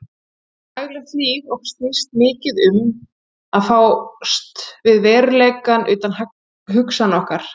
Daglegt líf okkar snýst mikið til um að fást við veruleikann utan hugsana okkar.